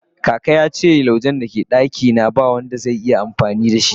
kaka na yace laujen da ke a dakin nawa be ba Wanda zai iya amfani da so